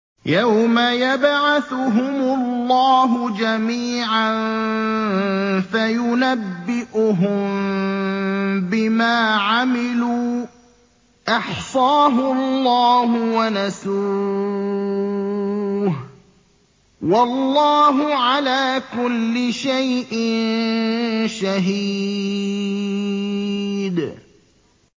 يَوْمَ يَبْعَثُهُمُ اللَّهُ جَمِيعًا فَيُنَبِّئُهُم بِمَا عَمِلُوا ۚ أَحْصَاهُ اللَّهُ وَنَسُوهُ ۚ وَاللَّهُ عَلَىٰ كُلِّ شَيْءٍ شَهِيدٌ